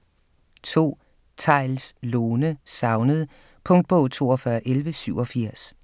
2. Theils, Lone: Savnet Punktbog 421187